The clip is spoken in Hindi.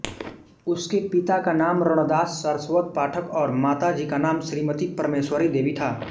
उसके पिता का नाम रणदास सारस्वत पाठक और माताजी का नाम श्रीमती परमेश्वरी देवी था